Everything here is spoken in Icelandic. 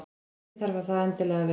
Ekki þarf það endilega að vera.